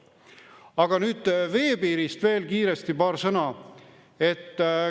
Aga nüüd kiiresti paar sõna veepiirist.